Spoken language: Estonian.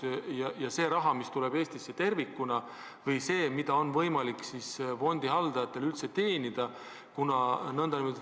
Küsimuse all on see raha, mis tuleb Eestisse tervikuna, või see, mida on fondihaldajatel üldse võimalik teenida.